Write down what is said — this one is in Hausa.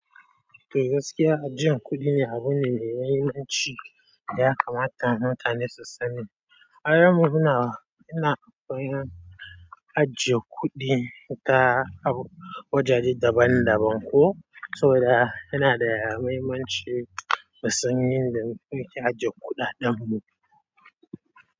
Gaskiya ajiyann kuɗi ne abune mai mahimmanci da ya kamata mutane su sani. Har mu muna, ina koyan ajiyar kuɗi ta wajaje daban daban ko, saboda yana da mahimmanci mu san yadda muke ajiyar kuɗaɗen mu.